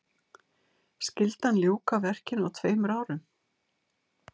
Skyldi hann ljúka verkinu á tveimur árum.